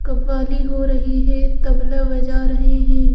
कबाली हो रही है तबला बजा रहे हैं।